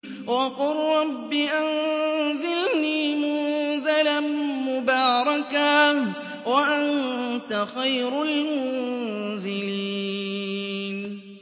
وَقُل رَّبِّ أَنزِلْنِي مُنزَلًا مُّبَارَكًا وَأَنتَ خَيْرُ الْمُنزِلِينَ